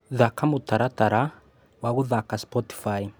Thaka mũtaratara wa guthaka Spotify